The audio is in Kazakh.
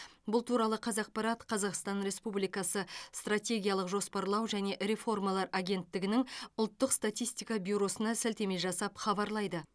бұл туралы қазақпарат қазақстан республикасы стратегиялық жоспарлау және реформалар агенттігінің ұлттық статистика бюросына сілтеме жасап хабарлайды